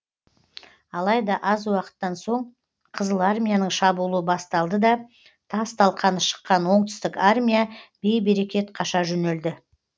алайда аз уақыттан соң қызыл армияның шабуылы басталды да тас талқаны шыққан оңтүстік армия бей берекет қаша жөнелді